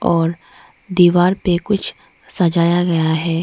और दीवार पे कुछ सजाया गया है।